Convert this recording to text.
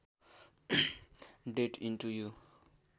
date into you